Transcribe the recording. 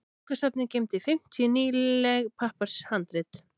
Bókasafnið geymdi fimmtíu nýleg pappírshandrit.